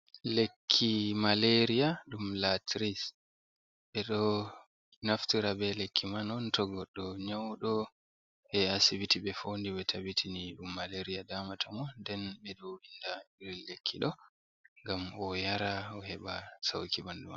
Lekki maleria dum laris, ɓe ɗo naftira be lekki man on to goɗɗo nyauɗo haa asibiti ɓe foodi ɓe tabitini dum maleria daamata mo nden ɓe ɗo winda irin lekki ɗo ngam o yara o heɓa sauki bandu maako.